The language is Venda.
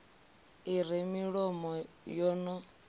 i re milomo yo no